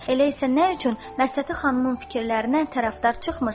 Elə isə nə üçün Məhsəti xanımın fikirlərinə tərəfdar çıxmırsan?